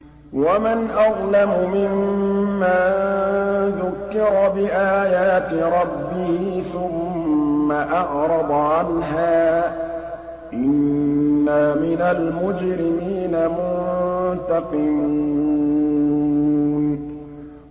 وَمَنْ أَظْلَمُ مِمَّن ذُكِّرَ بِآيَاتِ رَبِّهِ ثُمَّ أَعْرَضَ عَنْهَا ۚ إِنَّا مِنَ الْمُجْرِمِينَ مُنتَقِمُونَ